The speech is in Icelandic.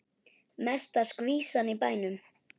Mesta skvísan í bænum.